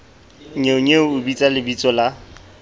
nnyeonyeo o bitsa lebitso la